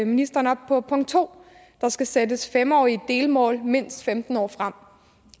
ministeren op på punkt 2 der skal sættes fem årige delmål mindst femten år frem